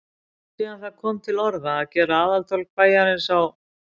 Er langt síðan það kom til orða, að gera aðaltorg bæjarins á